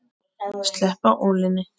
Sleppa ólinni.